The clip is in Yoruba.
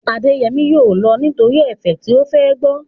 Adéyẹmí yóò lọ nítorí ẹ̀fẹ̀ tí ó fẹ́ gbọ́